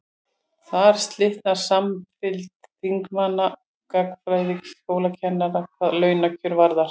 þar slitnar samfylgd þingmanna og gagnfræðaskólakennara hvað launakjör varðar